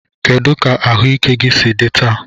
Kedu ka ahụike gị si dị taa?